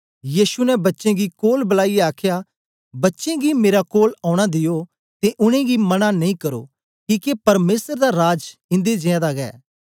यीशु ने बच्चें गी कोल बलाईयै आखया बच्चें गी मेरे कोल औना दियो ते उनेंगी मन्ना नेई करो किके परमेसर दा राज इन्दे जियां दा गै